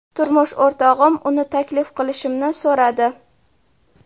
Turmush o‘rtog‘im uni taklif qilishimni so‘radi.